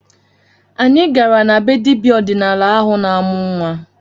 Anyị gara na be dibịa ọdịnala ahụ na-amụ nnwa